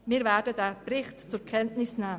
Wir werden diesen Bericht zur Kenntnis nehmen.